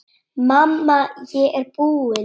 Mamma, ég er búin!